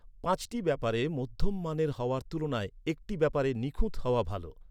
পাঁচটি ব্যাপারে মধ্যম মানের হওয়ার তুলনায় একটি ব্যাপারে নিখুঁত হওয়া ভালো।